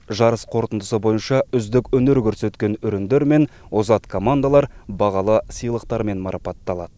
жарыс қорытындысы бойынша үздік өнер көрсеткен өрендер мен озат командалар бағалы сыйлықтармен марапатталады